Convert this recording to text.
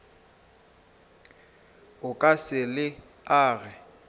o ka se le age